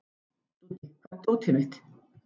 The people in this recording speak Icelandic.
Dúddi, hvar er dótið mitt?